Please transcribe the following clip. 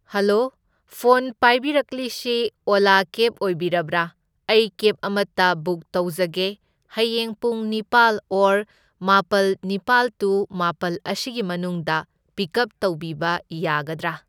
Hello phone ꯄꯥꯏꯕꯤꯔꯛꯂꯤꯁꯤ ꯑꯣꯂꯥ cab ꯑꯣꯏꯕꯤꯔꯕ꯭ꯔꯥ? ꯑꯩ ꯀꯦꯕ ꯑꯃꯇ ꯕꯨꯛ ꯇꯧꯖꯒꯦ, ꯍꯌꯦꯡ ꯄꯨꯡ ꯅꯤꯄꯥꯜ ꯑꯣꯔ ꯃꯥꯄꯜ ꯅꯤꯄꯥꯟ ꯇꯨ ꯃꯥꯄꯜ ꯑꯁꯤꯒꯤ ꯃꯅꯨꯡꯗ ꯄꯤꯀꯞ ꯇꯧꯕꯤꯕ ꯌꯥꯒꯗ꯭ꯔꯥ?